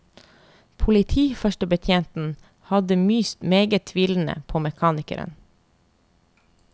Politiførstebetjenten hadde myst meget tvilende på mekanikeren.